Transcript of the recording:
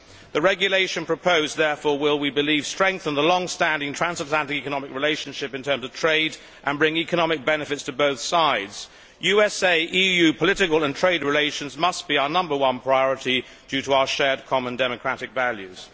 The regulation proposed therefore will, we believe, strengthen the long standing transatlantic economic relationship in terms of trade, and bring economic benefits to both sides. USA EU political and trade relations must be our number one priority, due to our shared common democratic values.